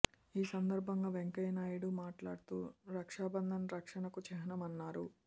ఈ సందర్భంగా వెంకయ్య నాయుడు మాట్లాడుతూ రక్షా బంధన్ రక్షణకు చిహ్నమన్నారు